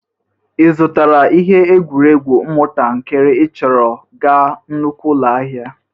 Ị zụtakwara ihe egwueregwu ụmụntakịrị ị chọrọ ga nnukwu ụlọ ahịa?